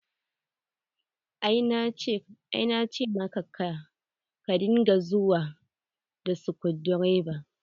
Ai na ce maka ka dinga zuwa da skudireva.